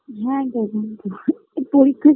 হ্যাঁ গেলাম তো পরীক্ষা